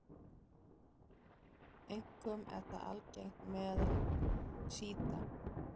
Einkum er það algengt meðal sjíta.